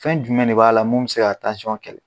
Fɛn jumɛn de b'a la mun m se ka kɛlɛ?